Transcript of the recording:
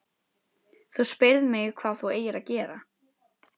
Þú spyrð mig hvað þú eigir að gera.